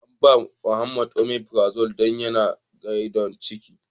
An ba ma Muhammed " omeprazole " don yana da gyanbon ciki.